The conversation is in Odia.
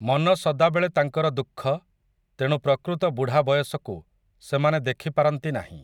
ମନ ସଦାବେଳେ ତାଙ୍କର ଦୁଃଖ, ତେଣୁ ପ୍ରକୃତ ବୁଢା ବୟସକୁ, ସେମାନେ ଦେଖିପାରନ୍ତି ନାହିଁ ।